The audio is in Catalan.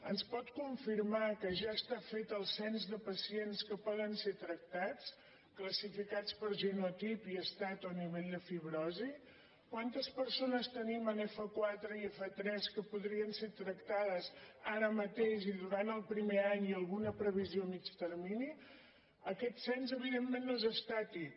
ens pot confirmar que ja està fet el cens de pacients que poden ser tractats classificats per genotip i es·tat o nivell de fibrosi quantes persones tenim en f4 i f3 que podrien ser tractades ara mateix i durant el primer any i alguna previsió a mitjà termini aquest cens evidentment no és estàtic